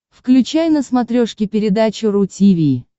включай на смотрешке передачу ру ти ви